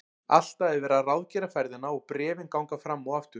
Alltaf er verið að ráðgera ferðina og bréfin ganga fram og aftur.